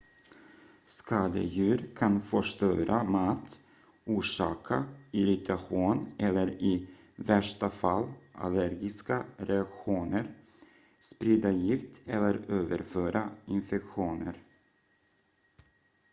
skadedjur kan förstöra mat orsaka irritation eller i värsta fall allergiska reaktioner sprida gift eller överföra infektioner